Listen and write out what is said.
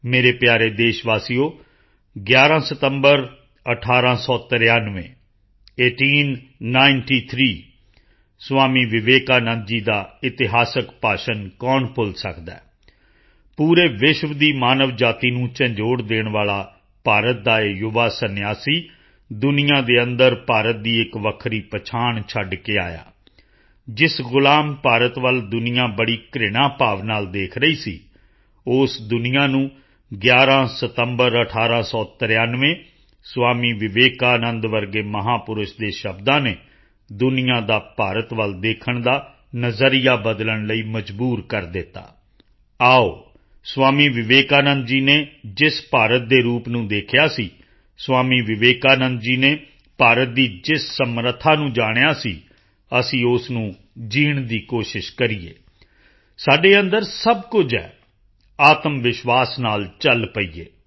ਮੇਰੇ ਪਿਆਰੇ ਦੇਸ਼ਵਾਸੀਓ 11 ਸਤੰਬਰ 1893 eighteen ninety three Swami Vivekananda ji ਦਾ ਇਤਿਹਾਸਿਕ ਭਾਸ਼ਣ ਕੌਣ ਭੁੱਲ ਸਕਦਾ ਹੈ ਪੂਰੇ ਵਿਸ਼ਵ ਦੀ ਮਾਨਵ ਜਾਤੀ ਨੂੰ ਝੰਜੋੜ ਦੇਣ ਵਾਲਾ ਭਾਰਤ ਦਾ ਇਹ ਯੁਵਾ ਸੰਨਿਆਸੀ ਦੁਨੀਆ ਦੇ ਅੰਦਰ ਭਾਰਤ ਦੀ ਇੱਕ ਵੱਖਰੀ ਪਛਾਣ ਛੱਡ ਕੇ ਆਇਆ ਜਿਸ ਗੁਲਾਮ ਭਾਰਤ ਵੱਲ ਦੁਨੀਆ ਬੜੀ ਘ੍ਰਿਣਾ ਭਾਵ ਨਾਲ ਦੇਖ ਰਹੀ ਸੀ ਉਸ ਦੁਨੀਆ ਨੂੰ 11 ਸਤੰਬਰ 1893 ਸਵਾਮੀ ਵਿਵੇਕਾਨੰਦ ਵਰਗੇ ਮਹਾਪੁਰਸ਼ ਦੇ ਸ਼ਬਦਾਂ ਨੇ ਦੁਨੀਆ ਦਾ ਭਾਰਤ ਵੱਲ ਦੇਖਣ ਦਾ ਨਜ਼ਰੀਆ ਬਦਲਣ ਲਈ ਮਜਬੂਰ ਕਰ ਦਿੱਤਾ ਆਓ ਸਵਾਮੀ ਵਿਵੇਕਾਨੰਦ ਜੀ ਨੇ ਜਿਸ ਭਾਰਤ ਦੇ ਰੂਪ ਨੂੰ ਦੇਖਿਆ ਸੀ ਸਵਾਮੀ ਵਿਵੇਕਾਨੰਦ ਜੀ ਨੇ ਭਾਰਤ ਦੀ ਜਿਸ ਸਮਰੱਥਾ ਨੂੰ ਜਾਣਿਆ ਸੀ ਅਸੀਂ ਉਸ ਨੂੰ ਜੀਣ ਦੀ ਕੋਸ਼ਿਸ਼ ਕਰੀਏ ਸਾਡੇ ਅੰਦਰ ਸਭ ਕੁਝ ਹੈ ਆਤਮਵਿਸ਼ਵਾਸ ਨਾਲ ਚਲ ਪਈਏ